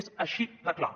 és així de clar